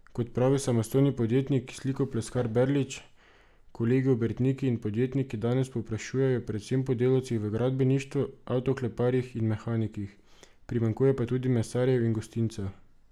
Kot pravi samostojni podjetnik slikopleskar Berlič, kolegi obrtniki in podjetniki danes povprašujejo predvsem po delavcih v gradbeništvu, avtokleparjih in mehanikih, primanjkuje pa tudi mesarjev in gostincev.